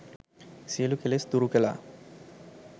සියලු කෙලෙස් දුරු කළා.